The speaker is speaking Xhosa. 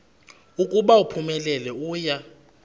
ukuba uphumelele uya